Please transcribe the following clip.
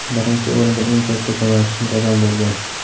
Birinchi o‘rinda eng katta ko‘makchim dadam bo‘lgan.